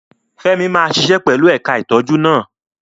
Femi máa ṣiṣẹ́ pẹ̀lú ẹ̀ka ìtọ́jú náà.